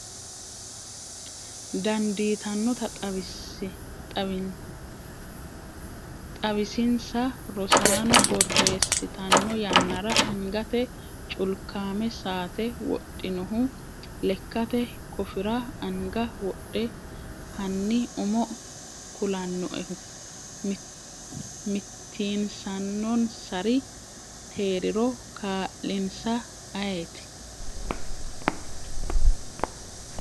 dandiitannota xawisinsa Rosaano borreessitanno yannara angate culkame sa'ate wodhinohu leekkate kofira agna wodhe hanni umo kulannoehu mitiinsannonsari hee’riro kaa’linsa ayeeti?